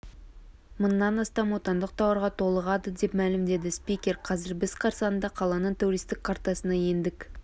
мыңнан астам отандық тауарға толығады деп мәлімдеді спикер қазір біз қарсаңында қаланың туристік картасына ендік